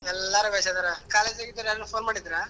ಎಲ್ಲರ್ ಬೇಷ್ ಅದ್ದಾರಾ college ನಾಗಿದ್ದೋರ್ ಯಾರಾದ್ರು phone ಮಾಡಿದ್ರ?